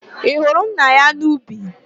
Ị hụrụ nna ya n'ubi?